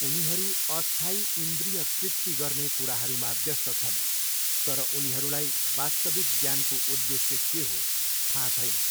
उनीहरू अस्थायी इन्द्रिय तृप्ति गर्ने कुराहरूमा व्यस्त छन् तर उनीहरूलाई वास्तविक ज्ञानको उदेश्य के हो थाहा छैन।